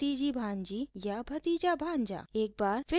एक बार फिर यहाँ पहले खाली स्थान में नाम भरें